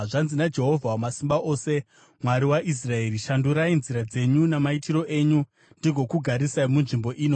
Zvanzi naJehovha Wamasimba Ose, Mwari waIsraeri: Shandurai nzira dzenyu namaitiro enyu, ndigokugarisai munzvimbo ino.